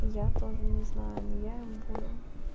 я тоже не знаю но я им буду